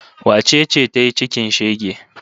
Wace ce ta yi cikin shege?